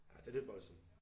Ja det lidt voldsomt